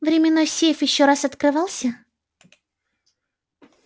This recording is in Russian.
временной сейф ещё раз открывался